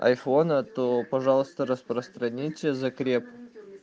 айфона то пожалуйста распространите закреп